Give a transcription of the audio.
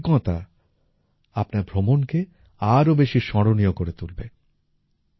এই অভিজ্ঞতা আপনার ভ্রমণকে আরও বেশি স্মরণীয় করে তুলবে